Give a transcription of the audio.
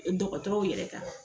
E dɔgɔtɔrɔw yɛrɛ kan